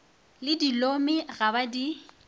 le dilomi ga ba di